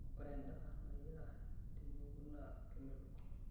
Ore endaa nayiara tenyungu naa kemelok.